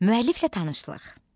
Müəlliflə tanışlıq.